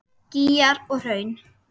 Gígar og hraun